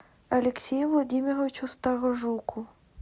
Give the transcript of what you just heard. алексею владимировичу сторожуку